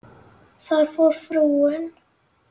Þar fór frúin.